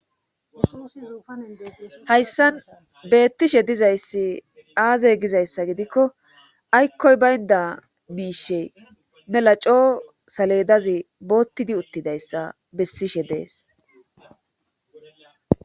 Hayssan beettishe dizayssi aazey gizayssa gidikko aykkoy baynda miishe mela coo saledazi boottidi uttidayssa bessishe de'es